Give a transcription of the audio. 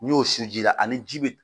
N'i y'o sun ji la ani ji bɛ